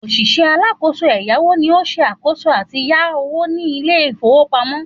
Òṣìṣẹ́ alákòóso ẹ̀yáwó ni ó ṣe àkòóso àti yá owó ní Ilé-ìfowópamó